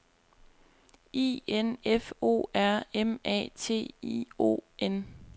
I N F O R M A T I O N